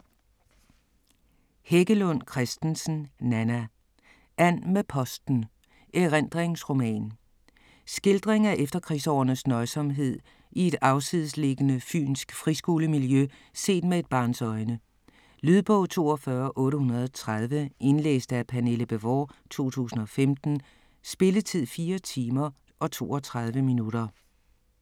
Heggelund Christensen, Nanna: And med posten: erindringsroman Skildring af efterkrigsårenes nøjsomhed i et afsidesliggende fynsk friskolemiljø set med et barns øjne. Lydbog 42830 Indlæst af Pernille Bévort, 2015. Spilletid: 4 timer, 32 minutter.